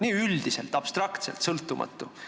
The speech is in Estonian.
Nii üldiselt, abstraktselt sõltumatu.